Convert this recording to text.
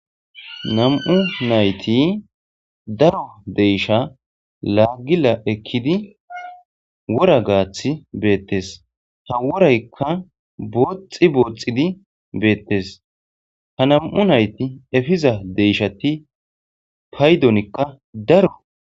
nam7u nayti daro deysha laagila ekkidi wora gaath beettes ha woraykka booxxi booxxidi beettes ha nam7u nayti efiza deyshati paydonikka daro